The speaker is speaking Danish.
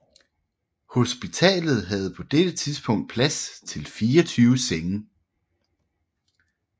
Hospitalet havde på dette tidspunkt plads til 24 senge